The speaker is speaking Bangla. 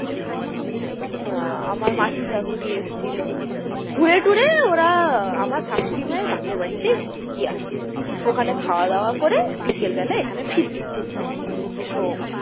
আহ আমার মাসির শাশুড়ি এসেছিল ঘুরে-টুরে ওরা আহ আমার শাশুড়ি মায়ের বাপের বাড়িতে গিয়েছে ওখানে খাওয়া দাওয়া করে বিকাল বেলা এখানে ফিরবে হম হম তো,